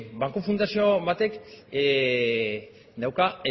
banku fundazio on batek dauka